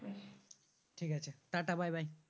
ঠিক আছে tata bye bye